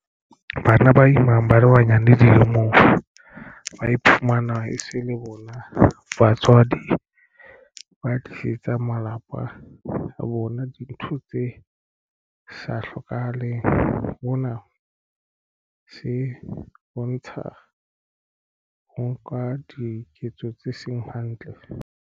Bana ba imang ba le banyane dilemong ba iphumana e se le bona batswadi ba tlisetsang malapa a bona dintho tse sa hlokahaleng mona se bontsha ho nka diketso tse seng hantle.